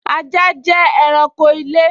Ajá jẹ́ ẹranko ilé